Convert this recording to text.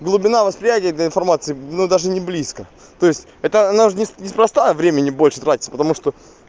глубина восприятия этой информации ну даже не близко то есть это она же здесь не с проста времени больше тратится потому что